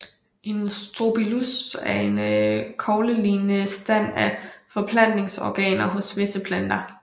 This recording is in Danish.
En Strobilus er en koglelignende stand af forplantningsorganer hos visse planter